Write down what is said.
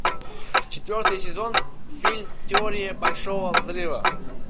четвертый сезон фильм теория большого взрыва